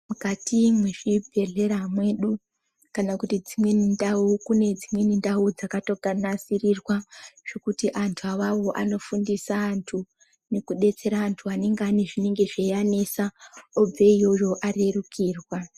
Mukati mezvi bhehlera mwedu kana kuti dzimweni ndau kune dzimweni ndau dzakato nasirirwa zvekuti andu awawo anofundisa andu neku besera andu anenge ane aine zvino anetsa obve iyoyo arerukirwa.